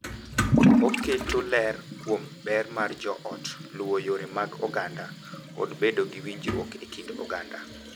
Oketo ler kuom ber mar joot, luwo yore mag oganda, kod bedo gi winjruok e kind oganda.